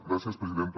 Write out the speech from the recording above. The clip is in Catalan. gràcies presidenta